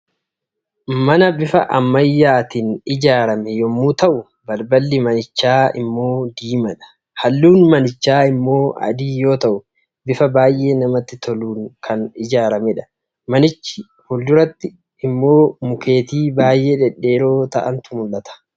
mana bifa ammayyaatiin ijaarame yommuu ta'u, balballi manichaa immoo diimaadha. Halluun manichaa immoo adii yoo ta'u, bifa baay'ee namatti toluun kan ijaaramedha. Manicha fulduratti immoo mukeetii baay'ee dhedheeroo ta'antu mul'ata.